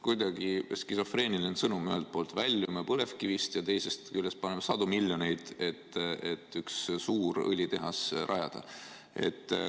Kuidagi skisofreeniline sõnum: ühelt poolt väljume põlevkivist ja teisest küljest kulutame sadu miljoneid, et üks suur õlitehas rajada.